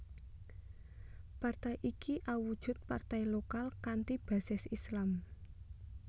Partai iki awujud partai lokal kanthi basis Islam